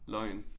Løgn